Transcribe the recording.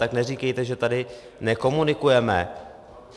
Tak neříkejte, že tady nekomunikujeme.